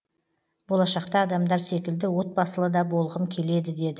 болашақта адамдар секілді отбасылы да болғым келеді деді